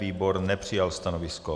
Výbor nepřijal stanovisko.